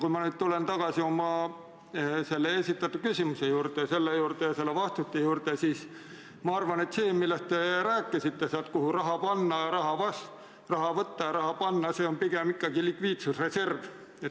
Kui ma nüüd tulen tagasi enda esitatud küsimuse ja sellele saadud vastuse juurde, siis ma arvan, et see, millest te rääkisite seoses sellega, kuhu raha panna ja kust raha võtta, on pigem ikkagi likviidsusreserv.